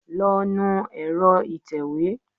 Lọ nu ẹ̀rọ ìtẹ̀wé!